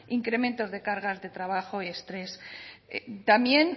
incrementos de cargas de trabajo y estrés también